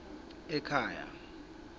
ekhaya